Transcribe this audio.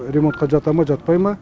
ремонтқа жата ма жатпай ма